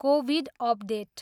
Covid update.